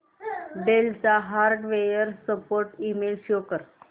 del चा hardware support email show कर